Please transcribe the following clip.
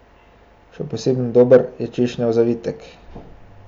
Še posebno dober je češnjev zavitek.